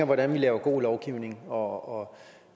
hvordan vi laver god lovgivning og